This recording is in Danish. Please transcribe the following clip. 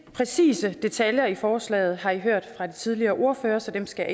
præcise detaljer i forslaget har i hørt fra de tidligere ordførere så dem skal